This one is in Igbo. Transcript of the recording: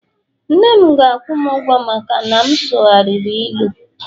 nna'm ga akwu'm ugwo maka na m sughari ilu